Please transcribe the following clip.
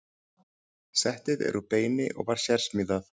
Settið er úr beini og var sérsmíðað.